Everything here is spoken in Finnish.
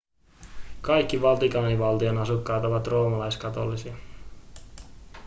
kaikki vatikaanivaltion asukkaat ovat roomalaiskatolisia